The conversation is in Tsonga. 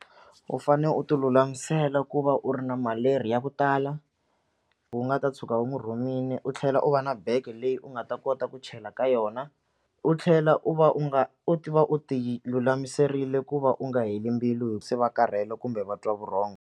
U fanele u ti lulamisela ku va u ri na maleri ya ku tala u nga ta tshuka u n'wi rhumile u tlhela u va na bege leyi u nga ta kota ku chela ka yona u tlhela u va u nga u tiva u ti lulamiserile ku va u nga heli mbilu se va karhele kumbe va twa vurhongo.